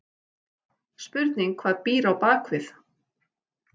Spurning hvað býr á bakvið?!